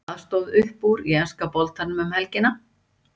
Hvað stóð upp úr í enska boltanum um helgina?